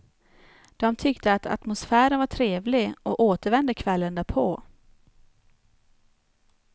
De tyckte att atmosfären var trevlig och återvände kvällen därpå.